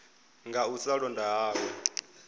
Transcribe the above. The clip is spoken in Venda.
nga u sa londa hawe